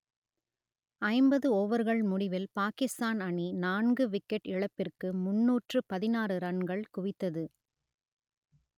ஐம்பது ஓவர்கள் முடிவில் பாகிஸ்தான் அணி நான்கு விக்கெட் இழப்பிற்கு முன்னூற்று பதினாறு ரன்கள் குவித்தது